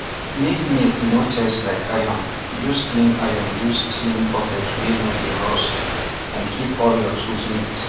make milk no taste like iron use clean iron use clean bucket wey no dey rust and keep all your tools neat